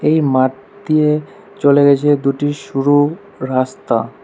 এই মাঠ দিয়ে চলে গেছে দুটি সরু রাস্তা।